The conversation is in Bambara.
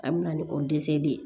A bɛna ni o de ye